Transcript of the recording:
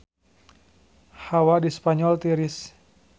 Hawa di Spanyol tiris